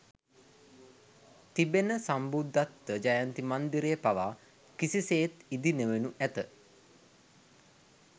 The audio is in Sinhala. තිබෙන සම්බුද්ධත්ව ජයන්ති මන්දිරය පවා කිසිසේත් ඉදිනොවනු ඇත